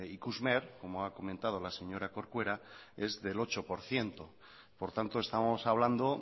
ikusmer como ha comentado la señora corcuera es del ocho por ciento por tanto estamos hablando